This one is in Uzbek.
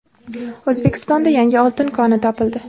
O‘zbekistonda yangi oltin koni topildi.